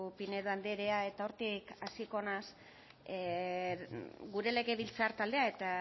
pinedo andrea eta hortik hasiko naiz gure legebiltzar taldea eta